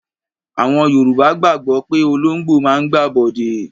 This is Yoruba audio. Àwọn Yorùbá gbàgbọ́ pé olóńgbò máa ń gbàbọ̀dè.